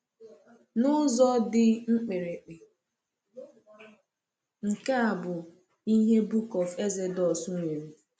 N’ụzọ dị mkpirikpi, nke a bụ ihe Book of Exodus nwere.